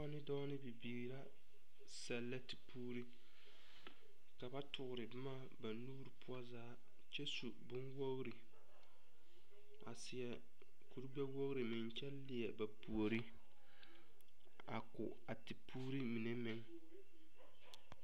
…ne dɔɔ nee bibiiri ra sɛllɛ tepuuri. Ka ba tore boma ba nuuri poɔ zaa kyɛ su boŋwogiri kyɛ seɛ kuri gbɛwogiri meŋ kyɛ leɛ ba puori a ko a tepuuri mine meŋ.